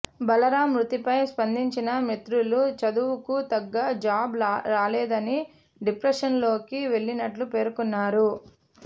బలరాం మృతిపై స్పందించిన మిత్రులు చదువుకు తగ్గ జాబ్ రాలేదని డిప్రెషన్లోకి వెళ్లినట్టు పేర్కొన్నారు